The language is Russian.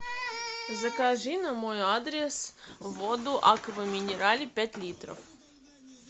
закажи на мой адрес воду аква минерале пять литров